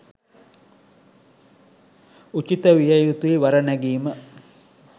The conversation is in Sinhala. උචිත විය යුතුයි වර නැගීම.